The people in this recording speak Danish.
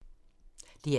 DR2